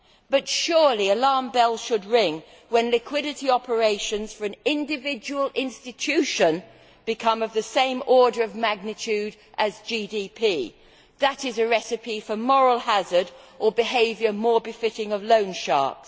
But surely alarm bells should ring when liquidity operations for an individual institution become of the same order of magnitude as GDP. That is a recipe for moral hazard or behaviour more befitting loan sharks.